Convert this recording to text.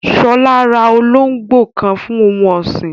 Shola ra olóngbò kan fún ohun ọ̀sìn